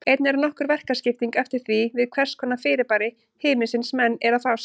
Einnig er nokkur verkaskipting eftir því við hvers konar fyrirbæri himinsins menn eru að fást.